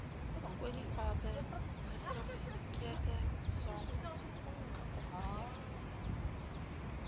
olievelde gesofistikeerde sakeomgewing